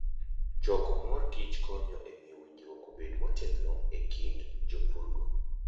Choko mor kich konyo e miyo winjruok obed motegno e kind jopurgo.